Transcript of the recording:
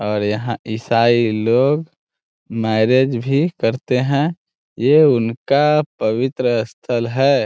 और यहाँ इसाई लोग मैरेज भी करते हैं ये उनका पवित्र स्थल है।